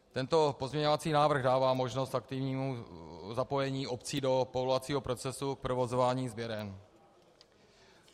Tento pozměňovací návrh dává možnost aktivnímu zapojení obcí do povolovacího procesu k provozování sběren.